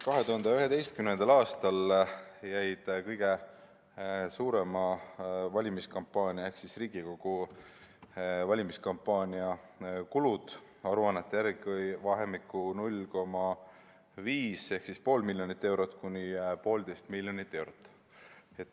2011. aastal jäid kõige suurema valimiskampaania ehk Riigikogu valimiskampaania kulud aruannete järgi vahemikku 0,5–1,5 miljonit eurot.